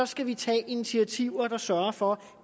skal vi tage initiativer der sørger for